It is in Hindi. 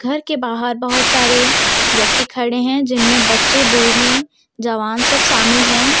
घर के बाहर बहोत सारे व्यक्ति खड़े हैं जिनमें बच्चे बूढ़े जवान सब शामिल हैं।